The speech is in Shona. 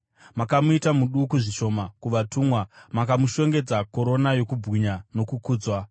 Makamuita muduku zvishoma kuvatumwa; makamushongedza korona yokubwinya nokukudzwa